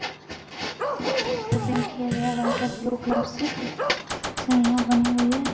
इसको पेंट किया गया व्हाइट और ब्लू कलर से जो यहां बनी हुई हैं।